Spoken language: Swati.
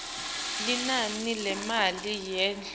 linani lemali yesondlo